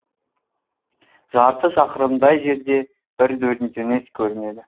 жарты шақырымдай жерде бір дөңес көрінеді